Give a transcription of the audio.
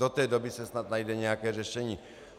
Do té doby se snad najde nějaké řešení.